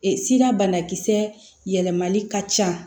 sira banakisɛ yɛlɛmali ka ca